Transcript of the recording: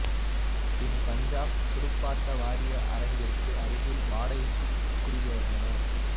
பின் பஞ்சாப் துடுப்பாட்ட வாரிய அரங்கிற்கு அருகில் வாடைக்கு குடிபெயர்ந்தனர்